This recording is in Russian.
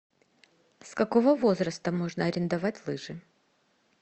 с какого возраста можно арендовать лыжи